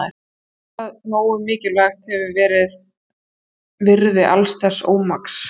Eitthvað nógu mikilvægt hefur hefur verið virði alls þessa ómaks.